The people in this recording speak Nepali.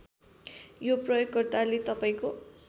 यो प्रयोगकर्ताले तपाईँको